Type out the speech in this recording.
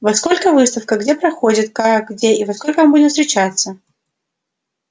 во сколько выставка где проходит как где и во сколько мы будем встречаться